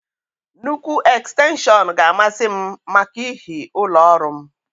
Nnukwu ekstenshọn ga a masị m màkà ihi ụlọ ọrụ m